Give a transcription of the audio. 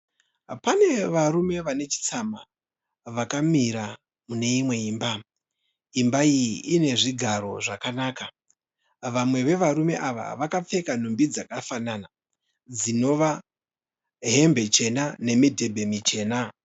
Pane varume vane chitsama vakamira mune imwe imba. Imba iyi ine zvigaro zvakanaka. Vamwe vevarume ava vakapfeka hembe dzakafanana dzinova hembe chena nemidhebhe michena.